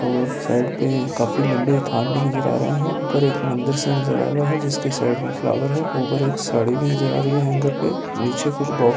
और साइड पे काफी लंबे थान भी नज़र आ रहें हैं ऊपर एक मंदिर सा नजर आ रहा है जिसके साइड में फ्लावर हैं ऊपर एक साड़ी भी नजर आ रही है हैंगर पे नीचे कुछ बॉक्स --